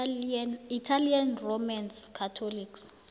italian roman catholics